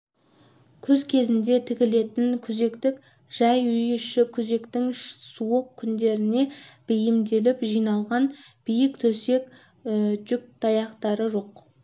күз кезінде тігілетін күзектік жай үй іші күзектің суық күндеріне бейімделіп жиналған биік төсек жүкаяқтар жоқ